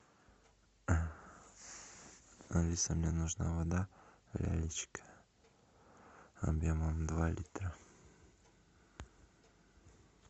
алиса мне нужна вода лялечка объемом два литра